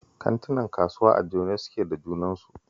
Kantinan kasuwa a jone suke da junansu